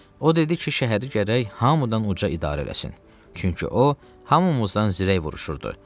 O dedi ki, şəhəri gərək Hamıdanuca idarə eləsin, çünki o hamımızdan zirək vuruşurdu.